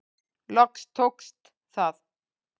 Loks tókst það.